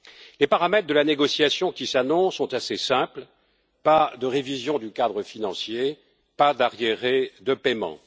Les paramètres de la négociation qui s'annonce sont assez simples pas de révision du cadre financier, pas d'arriérés de paiement.